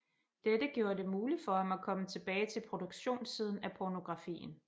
Dette gjorde det muligt for ham at komme tilbage til produktionssiden af pornografien